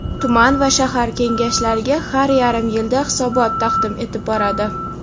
tuman va shahar Kengashlariga har yarim yilda hisobot taqdim etib boradi;.